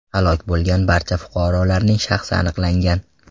Halok bo‘lgan barcha fuqarolarning shaxsi aniqlangan.